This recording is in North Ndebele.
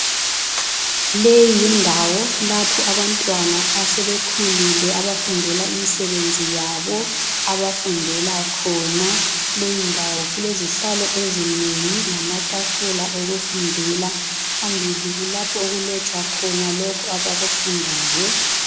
Le yindawo lapho abantwana asebekhulile abafundela imisebenzi yabo. Abafundela khona. Kulezihlalo ezinengi lamatafula okufundela. Phambili kulapho okulotshwa khona abakufundayo.